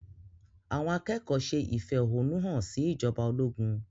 Àwọn akẹ́kọ̀ọ́ ṣe ìfẹ̀hónúhàn sí ìjọba ológun.